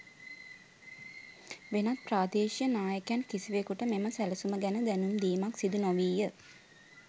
වෙනත් ප්‍රාදේශීය නායකයන් කිසිවකුට මෙම සැලසුම ගැන දැනුම් දීමක් සිදු නොවීය.